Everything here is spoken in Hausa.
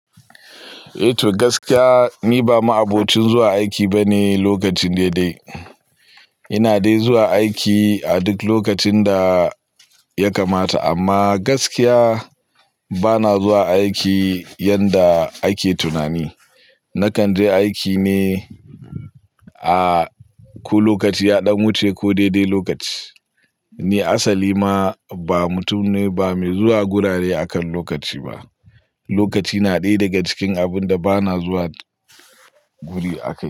Eh to gaskiya, ni ba ma'abocin zuwa aiki bane lokacin daidai. Ina dai zuwa aiki a duk lokacin da ya kamata amma gaskiya bana zuwa aiki yadda ake tunani. Na kan je aiki ne a ko lokaci ya ɗan wuce ko daidai lokaci. Ni asali ma ba mutum ne ba mai zuwa gurare akan lokaci ba. Lokaci na ɗaya daga cikin abun da bana zuwa guri akan.